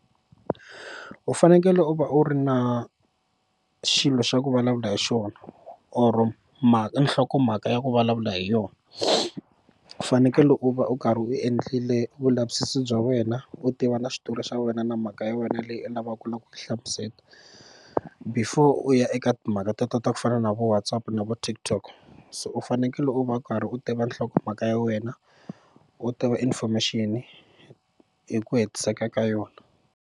U fanekele u va u ri na xilo xa ku vulavula hi xona or mhaka nhlokomhaka ya ku vulavula hi yona u fanekele u va u karhi u endlile vulavisisi bya wena u tiva na xitori xa wena na mhaka ya wena leyi u lavaka ku ku hlamuseta before u ya eka timhaka ta ta ta ku fana na vo Whatsapp na vo TikTok so u fanekele u va u karhi u tiva nhlokomhaka ya wena u tiva information hi ku hetiseka ka yona.